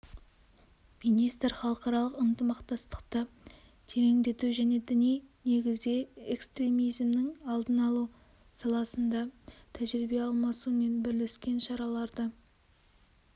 министр халықаралық ынтымақтастықты тереңдету және діни негізде экстремизмнің алдын алу саласында тәжірибе алмасу мен бірлескен шараларды